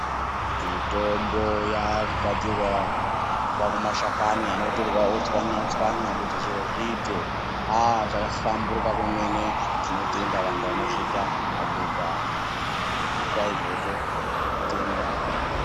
Mitombo yaakugadzirwa kubva kumashakani anotorwa ochwanya-chwanya kuti zviro zviite. Ah zvakahlamburuka kwemene tinotenda vantu anozviita, madhodha anoita izvozvo tinoatenda.